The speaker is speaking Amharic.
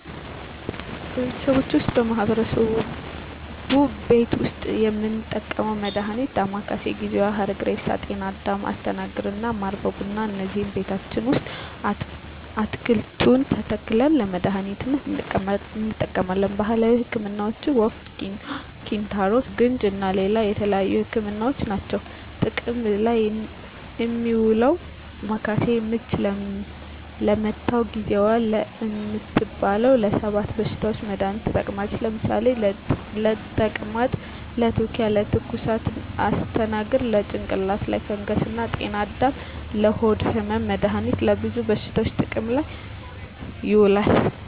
በቤተሰቦቼ ወይም በማህበረሰቡ ቤት ዉስጥ የምንጠቀመዉ መድሃኒት ዳማከሴ፣ ጊዜዋ፣ ሀረግሬሳ፣ ጤናአዳም፣ አስተናግር እና ማር በቡና እነዚህን ቤታችን ዉስጥ አትክልቱን ተክለን ለመድሃኒትነት እንጠቀማቸዋለን። ባህላዊ ህክምናዎች የወፍ፣ ኪንታሮት፣ ቡግንጂ እና ሌላ የተለያዩ ህክምናዎች አሉ። ጥቅም ላይ እሚዉለዉ ዳማከሴ፦ ምች ለመታዉ፣ ጊዜዋ እምትባለዋ ለ 7 በሽታዎች መድሃኒትነት ትጠቅማለች ለምሳሌ፦ ለተቅማጥ፣ ለትዉኪያ፣ ለትኩሳት... ፣ አስተናግር፦ ለጭንቅላት ላይ ፈንገስ እና ጤናአዳም፦ ለሆድ ህመም... መድሃኒቱ ለብዙ በሽታዎች ጥቅም ላይ ይዉላሉ።